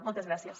moltes gràcies